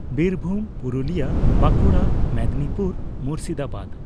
Birbhum, Purulia, Bankura, Medinipur, Murshidabad.